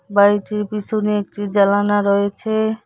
বাড়িটির পিছনে একটি জালানা রয়েছে।